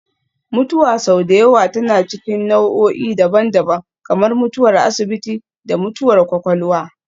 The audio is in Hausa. Mutuwa sau da yawa tana cikin nau'o'i daban-daban, kamar mutuwar asibiti da mutuwar kwakwalwa